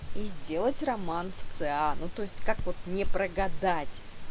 и сделать роман в ц а ну то есть как вот не прогадать